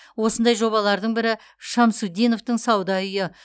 осындай жобалардың бірі шамсутдиновтың сауда үйі